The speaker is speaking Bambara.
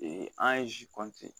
an ye